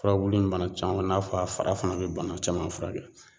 Furabulu in bana caman in'a a fara fana be bana caman furakɛ